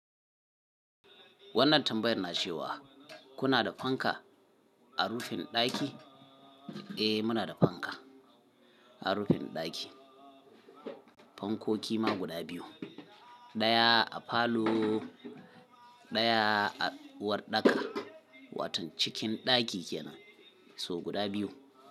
Wannan tambayar na ce wa kuna da fanka a rufin ɗaki? Eh muna da fanka a rufin ɗaki. Fankoki ma guda biyu. Ɗaya a falo ɗaya a uwardaka, waton cikin ɗaki kenan. So guda biyu.